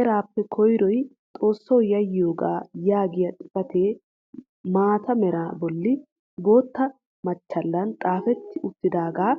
eraappe koyroy xoossawu yaayitoogaa yaagiyaa xifatee mata meraa bolli boottaa machchaallan xaafetti uttidaagaa